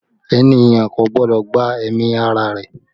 Ènìyàn kò gbọ́dọ̀ gba ẹ̀mí ara rẹ̀